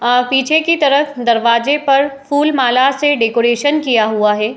पीछे की तरफ दरवाजे पर फूल माला से डेकरैशन किया हुआ है।